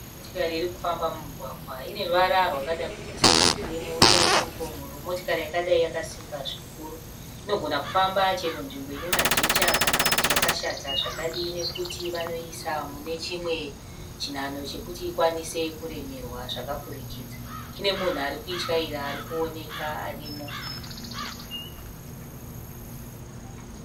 Motikari iri kufamba mumugwgwa. Ine ruvara rwakada kuita serwekirimu. Uye ine chimupon'oro. Motokari yakadai yakasimba zvikuru inogonha kufamba chero nzvimbo ine majecha kana kuti yakashata zvakadii nokuti vanoiisa mune chimwe chinhanho chokuti ikwanise kuremerwa zvakapfurukidza. Ine munhu ari kuityaira ari kuoneka arimo.